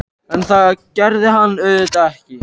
En það gerði hann auðvitað ekki.